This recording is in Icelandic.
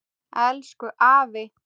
Elsku afi.